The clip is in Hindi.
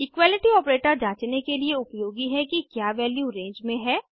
इक्वालिटी आपरेटर जांचने के लिए उपयोगी है कि क्या वैल्यू रेंज में है